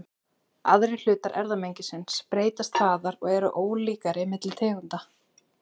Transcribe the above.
Aðrir hlutar erfðamengisins breytast hraðar og eru ólíkari milli tegunda.